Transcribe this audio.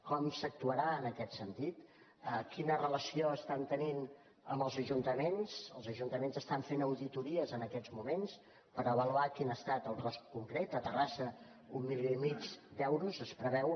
com s’actuarà en aquest sentit quina relació estan tenint amb els ajuntaments els ajuntaments es·tan fent auditories en aquests moments per avaluar quin ha estat el cost concret a terrassa un milió i mig d’euros es preveu